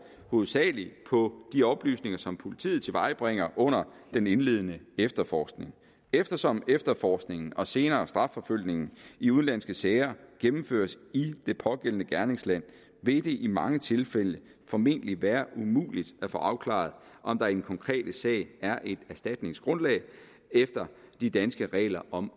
hovedsagelig på de oplysninger som politiet tilvejebringer under den indledende efterforskning eftersom efterforskningen og senere strafforfølgningen i udenlandske sager gennemføres i det pågældende gerningsland vil det i mange tilfælde formentlig være umuligt at få afklaret om der i den konkrete sag er et erstatningsgrundlag efter de danske regler om